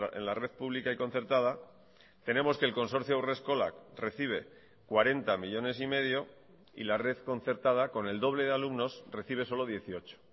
en la red pública y concertada tenemos que el consorcio haurreskolak recibe cuarenta millónes y medio y la red concertada con el doble de alumnos recibe solo dieciocho